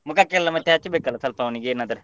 ಮುಖಕ್ಕೆ ಎಲ್ಲ ಮತ್ತೆ ಹಚ್ಚಬೇಕಲ್ಲ ಸ್ವಲ್ಪ ಅವನಿಗೆ ಏನಾದ್ರೆ.